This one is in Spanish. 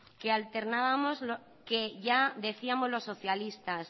que ya decíamos los socialistas